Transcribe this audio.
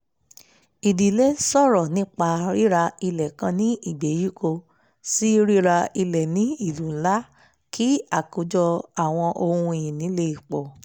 ìdílé sọ̀rọ̀ nípa ríra ilẹ̀ kan ní ìgbèríko sí ríra ilẹ̀ ní ìlú ńlá kí àkájọ àwọn ohun ìní le pọ̀